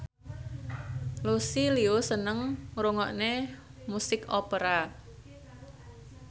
Lucy Liu seneng ngrungokne musik opera